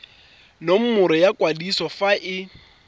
nomoro ya kwadiso fa e